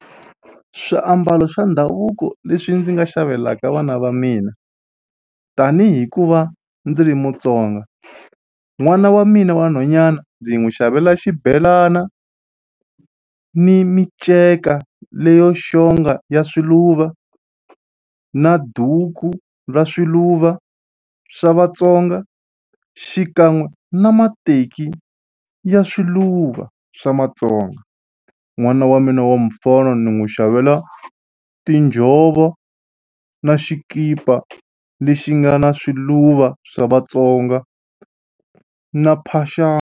Swiambalo swa ndhavuko leswi ndzi nga xavelaka vana va mina tanihi ku va ndzi ri Mutsonga n'wana wa mina wa nhwanyana ndzi n'wi xavela xibelana ni miceka leyo xonga ya swiluva na duku ra swiluva swa Vatsonga xikan'we na mateki ya swiluva swa matsonga n'wana wa mina wa mufana ni n'wi xavela tinjhovo na xikipa lexi nga na swiluva swa Vatsonga na .